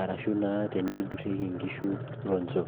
arashu naa teneidurieki nkishu roncho.